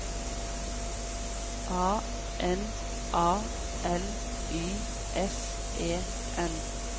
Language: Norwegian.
A N A L Y S E N